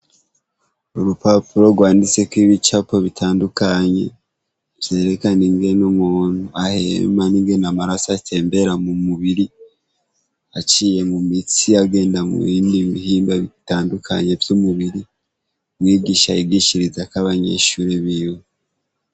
Urupapuro rwanditseko ibicapo bitandukanye, vyerekana ingene umuntu ahema, n'ingene amaraso atembera mu mubiri, aciye mu mitsi agenda mubindi bihiimba bitandukanye vy'umubiri. Umwigisha wigisha yigishirizako abanyeshuri biwe.